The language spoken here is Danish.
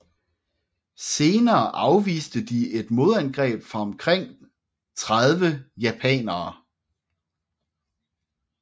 Senere afviste de et modangreb fra omkring 30 japanere